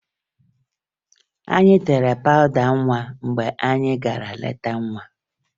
Anyị tere pawụda nwa mgbe anyị gara leta nwa